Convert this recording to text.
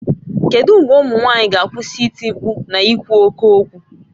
Kedu mgbe ụmụ nwaanyị ga-akwụsị iti mkpu na ikwu oke okwu?